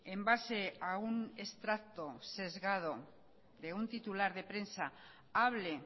en base a un extracto sesgado de un titular de prensa hable